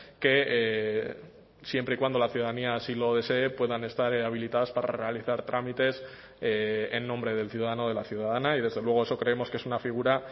que siempre y cuando la ciudadanía así lo desee puedan estar habilitadas para realizar trámites en nombre del ciudadano o de la ciudadana y desde luego eso creemos que es una figura